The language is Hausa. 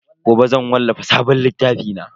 Gobe zan wallafa sabon littafi na.